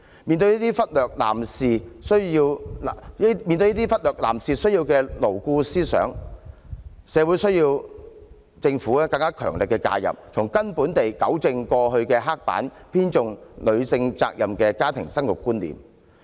面對這些忽略男士需要的牢固思想，社會需要政府更強力的介入，從根本地糾正過往刻板、偏重女性責任的家庭生育觀念。